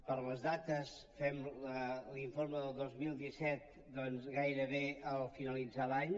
per les dates fem l’informe del dos mil disset doncs gairebé al finalitzar l’any